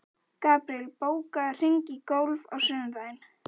Gabriel, bókaðu hring í golf á sunnudaginn.